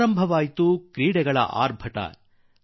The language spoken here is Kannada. ಕ್ರೀಡೆಗಳ ಕರೆಗಂಟೆ ಆರಂಭವಾಗಿದೆ